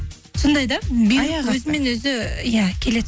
сондай да өзімен өзі иә келеді